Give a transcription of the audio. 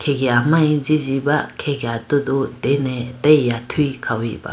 yamari ji jiba khege atudu dene atage aya athuyi khawuba.